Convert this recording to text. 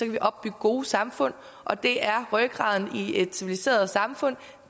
vi opbygge gode samfund og det er rygraden i et civiliseret samfund